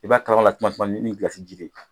I b'a kalaman la suma suma ni gilasi ji de ye.